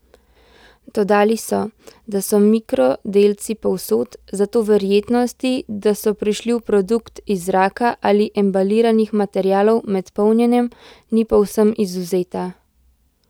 Dodali so, da so mikrodelci povsod, zato verjetnosti, da so prišli v produkt iz zraka ali embalirnih materialov med polnjenjem, ni povsem izvzeta.